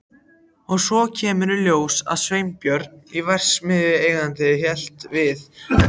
Og svo kemur í ljós að Sveinbjörn verksmiðjueigandi hélt við